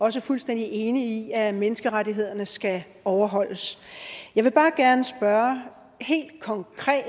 også fuldstændig enig i at menneskerettighederne skal overholdes jeg vil bare gerne spørge helt konkret